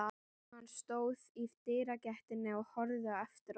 Hann stóð í dyragættinni og horfði á eftir honum.